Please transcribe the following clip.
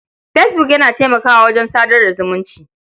Fesbuk yana taimakawa wajen sadar da zumunci.